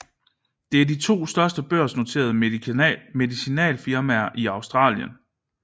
Det er de to største børsnoterede medicinalfirmaer i Australien